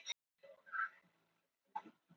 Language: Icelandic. Hundrað tré eru þess vegna ekkert endilega skógur.